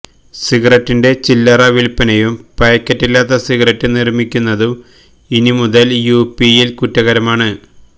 സിഗരറ്റിന്റെ ചില്ലറ വില്പനയും പായ്ക്കറ്റില്ലാതെ സിഗരറ്റ് നിര്മ്മിക്കുന്നതും ഇനിമുതല് യു പിയില് കുറ്റകരമാണ്